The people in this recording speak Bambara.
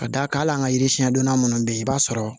Ka d'a kan hali an ka yiri siɲɛn donna minnu bɛ yen i b'a sɔrɔ